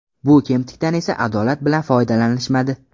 Bu kemtikdan esa adolat bilan foydalanishmadi.